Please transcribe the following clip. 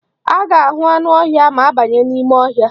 A ga-ahụ anụ ọhịa ma a banye n'ime ọhịa.